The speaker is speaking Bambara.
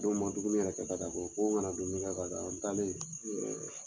n man dumuni yɛrɛ kɛ ka taa koyi ko n kana dumuni kɛ ka taa n taalen